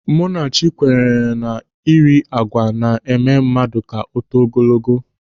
Munachi kwenyere na ị ri àgwà na-eme mmadụ ka o too ogologo.